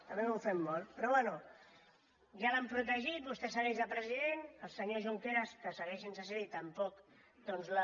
a mi m’ofèn molt però bé ja l’han protegit vostè segueix de president el senyor junqueras que segueix sense ser hi doncs tampoc doncs la